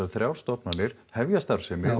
þrjár stofnanir hefja starfsemi og